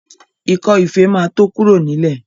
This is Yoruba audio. Ikọ́ ife ma tó kúrò nílẹ̀